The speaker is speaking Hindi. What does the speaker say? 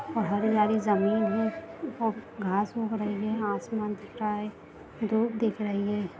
और हरी वाली जमीन है और घास उग रही है आसमान दिख रहा है धूप दिख रही है।